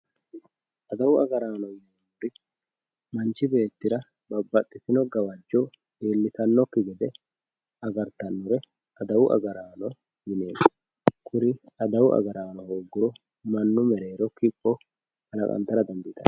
adawu agaraanooti yineemmori manchi beettira babbaxitino gawajjo iillitannokki gede agartanore adawu agaraano yineemmo kuri adawu agaraano hoogguro mannu mereero kipho kalaqantara dandiitanno.